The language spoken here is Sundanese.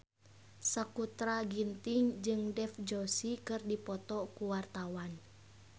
Sakutra Ginting jeung Dev Joshi keur dipoto ku wartawan